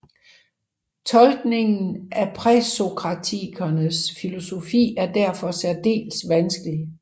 Tolkniningen af præsokratikernes filosofi er derfor særdeles vanskelig